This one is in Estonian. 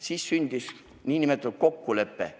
Siis sündis nn kokkulepe.